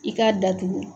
I k'a datugu